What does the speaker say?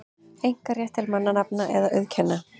einkarétt til mannanafna eða auðkenna.